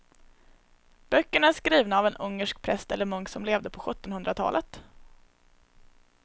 Böckerna är skrivna av en ungersk präst eller munk som levde på sjuttonhundratalet.